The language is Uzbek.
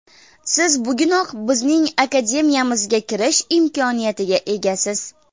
Siz bugunoq bizning Akademiyamizga kirish imkoniyatiga egasiz!